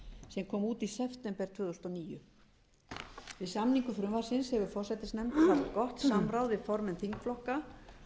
sem kom út í september tvö þúsund og níu við samningu frumvarpsins hefur forsætisnefnd haft gott samráð við formenn þingflokka